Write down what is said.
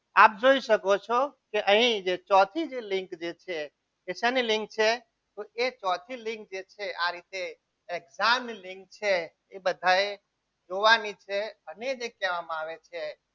આપ જોઈ શકો છો કે અહીં જે ચોથી જે લિંક છે તો શાની લીંક છે જે ચોથી લિંક છે તે આ રીતે exam લિંક છે એ બધાએ જોવાની છે અને જે કહેવામાં આવે છે.